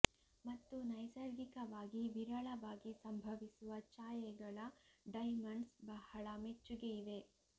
ಮತ್ತು ನೈಸರ್ಗಿಕವಾಗಿ ವಿರಳವಾಗಿ ಸಂಭವಿಸುವ ಛಾಯೆಗಳ ಡೈಮಂಡ್ಸ್ ಬಹಳ ಮೆಚ್ಚುಗೆ ಇವೆ